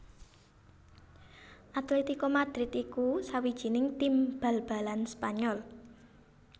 Atlético Madrid iku sawijining tim bal balan Spanyol